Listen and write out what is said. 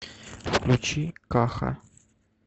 включи каха